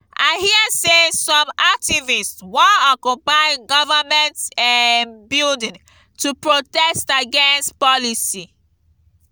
i hear sey some activists wan occupy government um building to protest against policy.